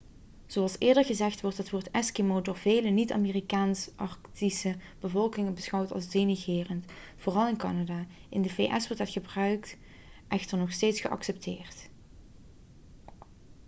zoals eerder gezegd wordt het woord eskimo' door vele niet-amerikaanse arctische bevolkingsgroepen beschouwd als denigrerend vooral in canada in de vs wordt het gebruik echter nog steeds geaccepteerd